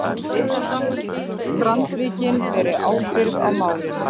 Öll strandríkin beri ábyrgð í málinu